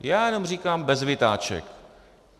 Já jenom říkám bez vytáček.